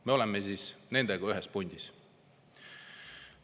Me oleme siis nendega ühes pundis.